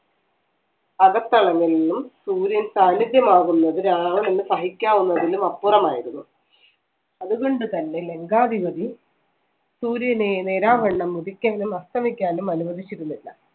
അകത്തളങ്ങളിൽ നിന്നും സൂര്യൻ സാന്നിധ്യമാകുന്നത് രാവണന് സഹിക്കാവുന്നതിലും അപ്പുറമായിരുന്നു അതുകൊണ്ടുതന്നെ ലങ്കാധിപതി സൂര്യനെ നേരാംവണ്ണം ഉദിക്കാനും അസ്തമിക്കാനും അനുവദിച്ചിരുന്നില്ല